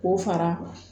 K'o fara